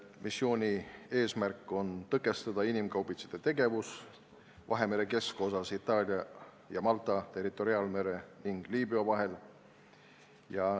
Missiooni eesmärk on tõkestada inimkaubitsejate tegevust Vahemere keskosas Itaalia ja Malta territoriaalmere ning Liibüa vahel.